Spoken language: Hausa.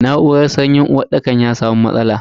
Na'uran sanyin uwarɗakar ya samu matsala.